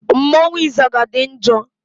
Mmọnwụ ịzaga dị njọ.